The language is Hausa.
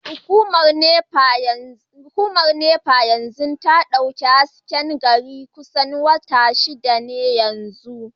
Hukumar NEPA ba ta dauki hasken GRA ba kusan watanni shida yanzu